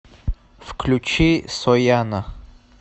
включи сояна